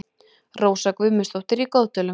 Rósa Guðmundsdóttir í Goðdölum